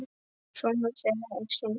Sonur þeirra er Sindri.